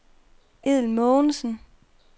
Edel Mogensen